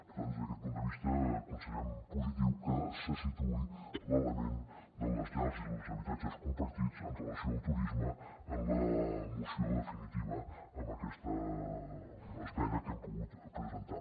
per tant des d’aquest punt de vista considerem positiu que se situï l’element de les llars i dels habitatges compartits en relació amb el turisme en la moció definitiva amb aquesta esmena que hem pogut presentar